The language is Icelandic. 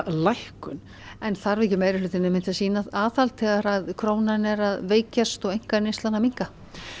lækkun en þarf ekki meirihlutinn að sýna aðhald þegar krónan er að veikjast og einkaneyslan að minnka